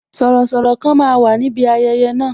Sọ̀rọ̀sọ̀rọ̀ kan máa wà níbi ayẹyẹ na